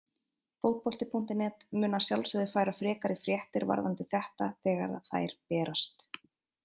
Fótbolti.net mun að sjálfsögðu færa frekari fréttir varðandi þetta þegar að þær berast.